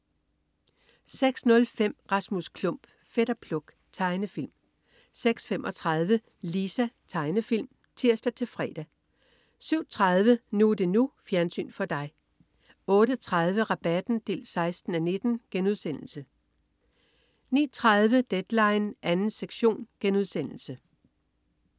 06.05 Rasmus Klump. Fætter Pluk. Tegnefilm 06.35 Lisa. Tegnefilm (tirs-fre) 07.30 NU er det NU. Fjernsyn for dig 08.30 Rabatten 16:19* 09.30 Deadline 2. sektion*